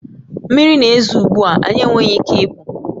Mmiri na-ezo ugbu a, anyị enweghị ike ịpụ